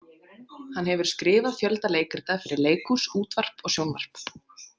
Hann hefur skrifað fjölda leikrita fyrir leikhús, útvarp og sjónvarp.